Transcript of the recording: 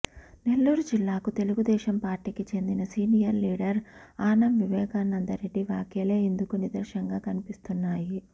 నెల్లూరు జిల్లాకు తెలుగుదేశం పార్టీకి చెందిన సీనియర్ లీడర్ ఆనం వివేకానందరెడ్డి వ్యాఖ్యలే ఇందుకు నిదర్శంగా కనిపిస్తున్నాయి